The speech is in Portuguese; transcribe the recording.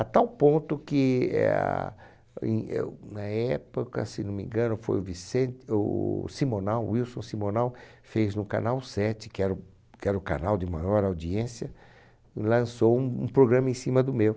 A tal ponto que eh, em eu na época, se não me engano, foi o Vicente, o Simonal, Wilson Simonal, fez no Canal Sete, que era o que era o canal de maior audiência, lançou um programa em cima do meu.